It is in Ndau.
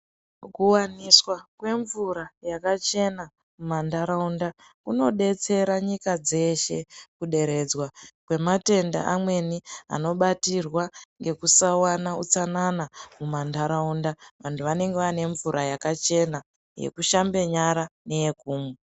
Kuwaniswa kwemvura yakachena mumantaraunda kunodetsera nyika dzeshe kuderedzwa kwematenda amweni anobatirwa ngekusawana utsanana mumantaraunda. Vantu vanenge vaanemvura yakachena, yekushambe nyara neyekumwa.